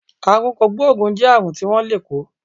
Àrùn kògbóògùn jẹ́ àrùn tí wón lè kó